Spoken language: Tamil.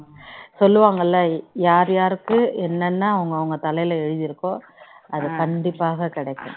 சொல்லுவாங்கள யார் யாருக்கு என்னென் அவங்க அவங்க தலையில எழுதி இருக்கோ அத் கண்டிப்பாக கிடைக்கும்